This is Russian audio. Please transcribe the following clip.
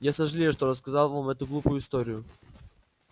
я сожалею что рассказал вам эту глупую историю